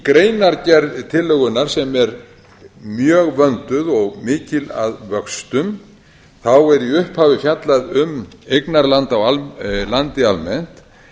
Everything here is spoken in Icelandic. greinargerð tillögunnar sem er mjög vönduð og mikil að vöxtum þá er í upphafi fjallað um eignarhald á landi almennt